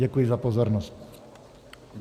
Děkuji za pozornost.